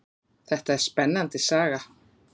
Þetta er spennandi saga.